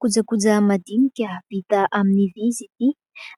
Kojakoja madinika vita amin'ny vý izy ity